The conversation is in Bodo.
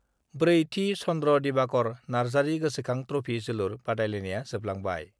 4 थि चन्द्र' दिबाकर नार्जारि गोसोखां ट्रफि जोलुर बादायलायनाया जोबलांबाय